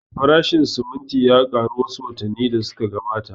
Farashin siminti ya ƙaru wa su watanni da su ka gabata